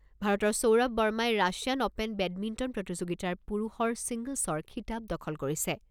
ভাৰতৰ সৌৰভ বাৰ্মাই Russian open badminton প্ৰতিযোগিতাৰ পুৰুষৰ ছিংগল্‌ছৰ খিতাপ দখল কৰিছে।